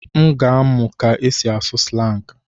M ga-amụ ka esi asụ slangị.